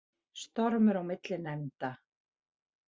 Stormur á milli nefnda